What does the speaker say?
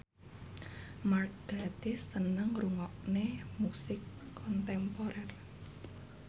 Mark Gatiss seneng ngrungokne musik kontemporer